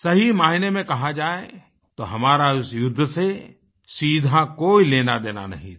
सही मायने में कहा जाए तो हमारा उस युद्ध से सीधा कोई लेनादेना नहीं था